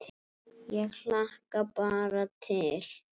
Ég hlakka bara til.